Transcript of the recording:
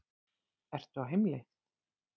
Ertu á heimleið?